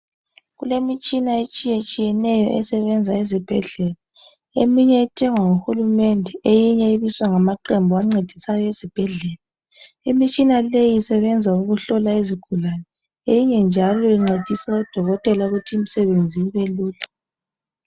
kulemitshina etshiya tshiyeneyo esebenza ezibhedlela eminye ethengwa nguhulumende eminye ibiswa ngamaqembu ancedisayo ezibhedlela. Imitshina leyi isebenza ukuhlola izigulane eminye njalo incedisa odokotela ukuthi imsebenzi ibelula.